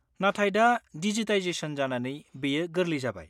नाथाय दा डिजिटाइजेसन जानानै बेयो गोरलै जाबाय।